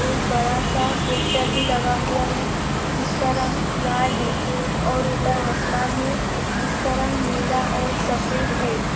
एक बड़ा सा पोस्टर भी लगा हुवा है जिसका रंग लाल है और ऊपर आसमान है जिसका रंग नीला और सफेद है।